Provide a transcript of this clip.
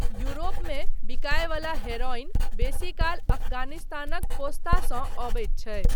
यूरोपमे बिकाय वला heroin basically अफगानिस्तानक पोस्तासँ अबैत छै।